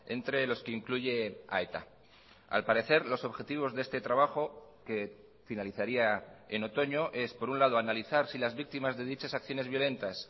entre los que incluye a eta al parecer los objetivos de este trabajo que finalizaría en otoño es por un lado analizar si las víctimas de dichas acciones violentas